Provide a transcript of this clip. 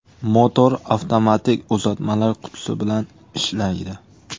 Motor avtomatik uzatmalar qutisi bilan ishlaydi.